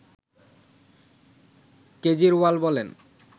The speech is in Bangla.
কেজরিওয়াল বলেন